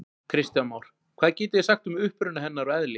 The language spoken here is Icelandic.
Kristján Már: Hvað getið þið sagt um uppruna hennar og eðli?